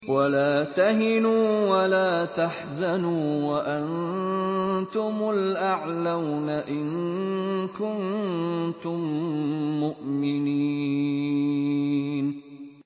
وَلَا تَهِنُوا وَلَا تَحْزَنُوا وَأَنتُمُ الْأَعْلَوْنَ إِن كُنتُم مُّؤْمِنِينَ